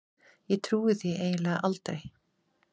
Ég trúi því eiginlega aldrei.